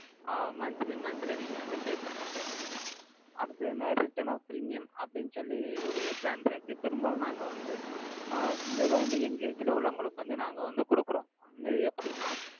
ஆஹ் monthly monthly நீங்க வந்து, pay பண்ற மாதிரி இருக்கும். அடுத்தது என்ன? return of premium அப்படின்னு சொல்லி, ஒரு plan இருக்கு. பெரும்பாலும் நாங்க வந்து, ஆஹ் இதைத்தான் வந்து, young age ல உள்ளவங்களுக்கு வந்து, நாங்க வந்து கொடுக்கிறோம். இது எப்படின்னா,